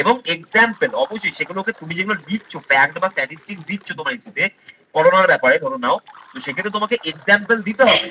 এবং example অবশ্যই সেগুলোকে তুমি যেগুলো লিখছ pack বা statistics দিচ্ছো তোমায় দিতে করোনার ব্যাপারে ধরে নাও তো সেক্ষেত্রে তোমাকে example দিতে হবে